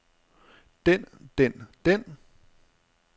den den den